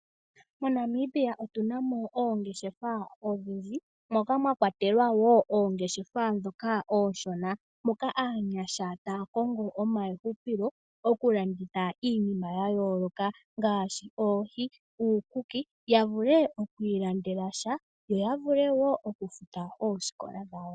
MoNamibia otu na mo oongeshefa odhindji moka mwa kwatelwa wo oongeshefa oonshona, moka aanyasha taya kongo omahupilo oku landitha iinima ya yooloka ngaashi oohi, uukuki, ya vule okwii landela sha, yo ya vule wo oku futa oosikola dhawo.